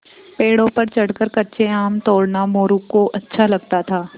पेड़ों पर चढ़कर कच्चे आम तोड़ना मोरू को अच्छा लगता था